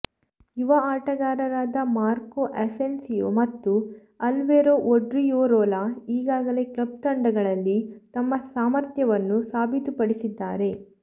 ಯುವ ಆಟಗಾರರಾದ Marco Asensio ಮತ್ತು ಅಲ್ವೆರೊ ಒಡ್ರಿಯೊರೊಲಾ ಈಗಾಗಲೇ ಕ್ಲಬ್ ತಂಡಗಳಲ್ಲಿ ತಮ್ಮ ಸಾಮರ್ಥ್ಯವನ್ನು ಸಾಬೀತುಪಡಿಸಿದ್ದಾರೆ